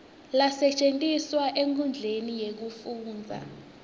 lasetjentiswa enkhundleni yekufundza